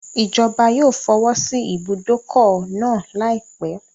Ìjọba yóò fọwọ́sí ìbùdókọ̀ náà láìpẹ́.